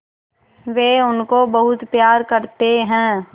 वे उनको बहुत प्यार करते हैं